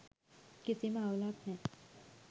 කිසිම අවුලක් නෑ.